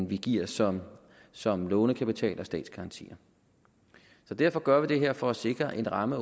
vi giver som som lånekapital og statsgarantier så derfor gør vi det her for at sikre at en ramme